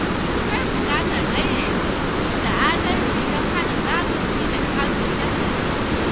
Akwai bukatar daidaita tsaro da adalci don hana zalunci daga hannun ‘yan sanda.